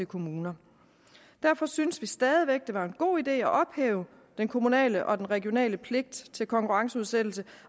kommuner derfor synes vi stadig væk det var en god idé at ophæve den kommunale og den regionale pligt til konkurrenceudsættelse